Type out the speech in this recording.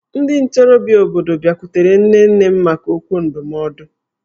Ndị ntorobịa obodo bịakwutere nne nne m maka okwu ndụmọdụ